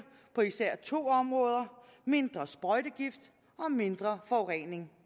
på især to områder mindre sprøjtegift og mindre forurening